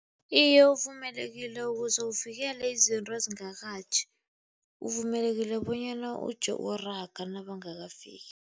Iye, uvumelekile ukuze uvikele izinto ezingakatjhi. Uvumelekile bonyana uje uraga nabangakafiki.